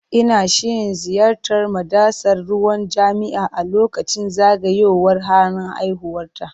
Ina shirin ziyartar madatsar ruwan jami'a a lokacin zagayowar ranar haihuwata.